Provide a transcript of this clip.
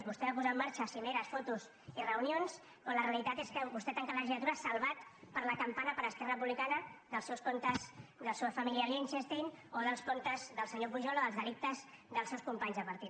vostè va posar en marxa cimeres fotos i reunions però la realitat és que vostè tanca la legislatura salvat per la campana per esquerra republicana dels seus comptes de la seva família a liechtenstein o dels comptes del senyor pujol o dels delictes dels seus companys de partit